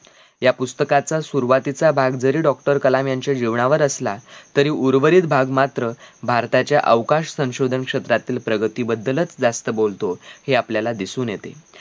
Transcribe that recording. या पुस्तकाचा सुरवातीचा भाग जरी doctor कलाम यांच्या जीवनावर असला तरी उर्वरित भाग मात्र भारताच्या अवकाश संशोधन क्षेत्रातील प्रगती बद्दलच जास्त बोलतो. हे आपल्याला दिसून येते